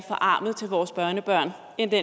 enkle